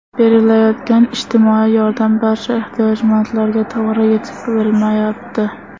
Berilayotgan ijtimoiy yordam barcha ehtiyojmandlarga to‘g‘ri yetib bormayapti.